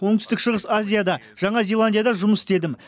оңтүстік шығыс азияда жаңа зеландияда жұмыс істедім